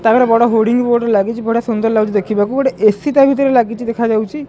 ତା ଆଗରେ ବଡ଼ ହୋର୍ଡିଂ ବୋର୍ଡ ଲାଗିଚି ବଢ଼ିଆ ସୁନ୍ଦର ଲାଗୁଚି ଦେଖିବାକୁ ଗୋଟେ ଏ_ସି ତା ଭିତରେ ଲାଗିଚି ଦେଖାଯାଉଚି।